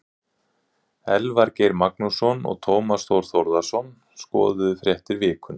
Elvar Geir Magnússon og Tómas Þór Þórðarson skoðuðu fréttir vikunnar.